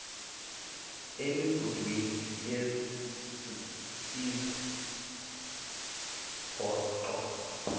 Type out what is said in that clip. emigudwini yesizwe pongo